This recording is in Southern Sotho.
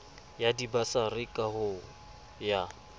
sa dibasari ka ho ya